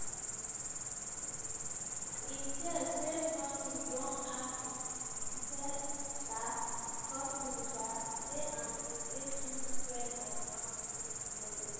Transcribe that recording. in tears male nurse redouan e tell um di courtroom um say im bin dey too scared of am to leave di bedroom.